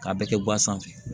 K'a bɛɛ kɛ guwan sanfɛ